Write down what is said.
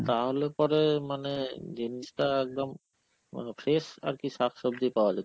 তাহলে পরে মানে জিনিসটা একদম মানে fresh আর কি শাকসবজি পাওয়া